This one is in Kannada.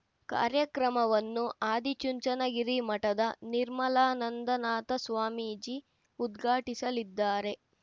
ಕಾರ್ಯಕ್ರಮವನ್ನು ಆದಿಚುಂಚನಗಿರಿ ಮಠದ ನಿರ್ಮಲಾನಂದನಾಥ ಸ್ವಾಮೀಜಿ ಉದ್ಘಾಟಿಸಲಿದ್ದಾರೆ